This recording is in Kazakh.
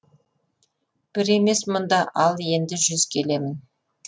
бір емес мұнда ал енді жүз келемін